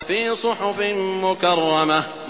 فِي صُحُفٍ مُّكَرَّمَةٍ